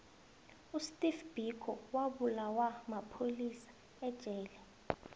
usteve biko wabulawa mapholisa ejele